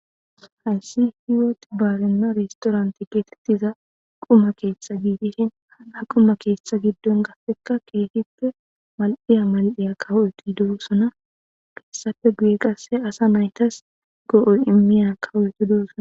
hayssi hiwot baarenna restoranti geetettiza quma keestha giidishin a quma keestha giddon gasseka keehippe mal7iya mal7eya kawu7eqi doossona keessafe guye qasse asa naytas go7oy immiyana kawuweti doosona